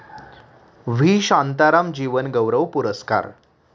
V. Shantaram जीवनगौरव पुरस्कार